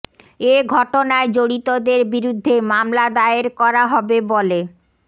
এ ঘটনায় জড়িতদের বিরুদ্ধে মামলা দায়ের করা হবে বলে